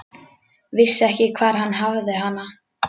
Vissi ekki hvar hann hafði hana.